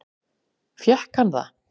Fékk hann það?